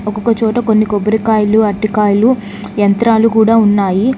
ఒకొక్కచోట కొన్ని కొబ్బరికాయలు అరటికాయలు యంత్రాలు కూడా ఉన్నాయి